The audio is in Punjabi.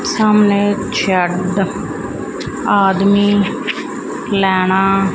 ਸਾਹਮਣੇ ਇਕ ਆਦਮੀ ਲੈਣਾ--